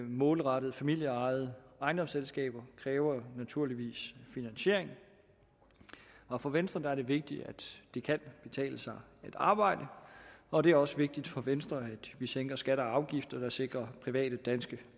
målrettet familieejede ejendomsselskaber kræver naturligvis finansiering og for venstre er det vigtigt at det kan betale sig at arbejde og det er også vigtigt for venstre at vi sænker skatter og afgifter og sikrer private danske